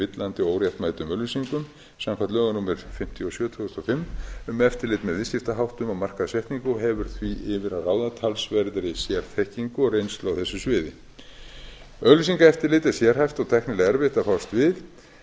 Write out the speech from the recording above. villandi og óréttmætum auglýsingum samkvæmt lögum númer fimmtíu og sjö tvö þúsund og fimm um eftirlit með viðskiptaháttum og markaðssetningu og hefur því yfir að ráða talsverðri sérþekkingu og reynslu á þessu sviði auglýsingaeftirlit er sérhæft og tæknilega erfitt að fást